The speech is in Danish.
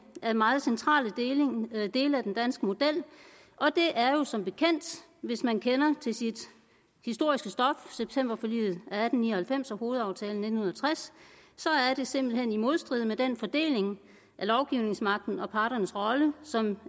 af meget centrale dele i den danske model det er jo som bekendt hvis man kender sit historiske stof septemberforliget atten ni og halvfems og hovedaftalen i nitten tres simpelt hen i modstrid med den fordeling af lovgivningsmagten og parternes rolle som